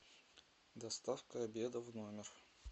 доставка обеда в номер